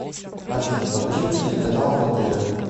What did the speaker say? афина покажи телеканал отр